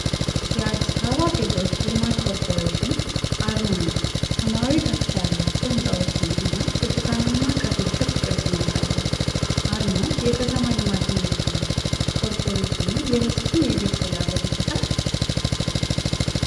የአዲስ አበባ ቤቶች ልማት ኮርፖሬሽን (Addis Ababa Housing Development Corporation) አርማ ነው። ሰማያዊ ከፍታ ያላቸው ሕንፃዎችን እና ብርቱካንማ ከፊል ክብ ቅርጽን ያሳያል። አርማው የከተማ ልማትን ይወክላል። ኮርፖሬሽኑ የህዝብን የቤት ፍላጎት ይፈታል?